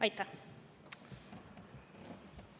Aitäh!